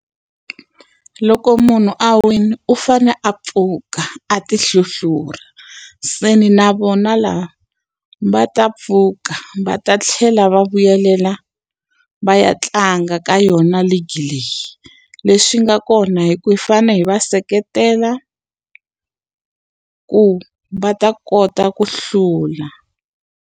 Loko munhu a wile u fanele a pfuka a ti hluhlura. Se ndzi na vona lava va ta pfuka va ta tlhela va vuyelela va ya tlanga ka yona league leyi. Leswi nga kona i ku hi fanele hi va seketela, ku va ta kota ku hlula.